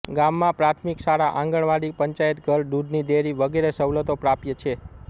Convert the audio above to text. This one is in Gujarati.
ગામમાં પ્રાથમિક શાળા આંગણવાડી પંચાયતઘર દુધની ડેરી વગેરે સવલતો પ્રાપ્ય છે